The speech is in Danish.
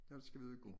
Ellers skal vi ud og gå